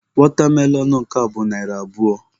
Watermelon nke a bụ narị abụọ.